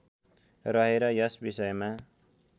रहेर यस विषयमा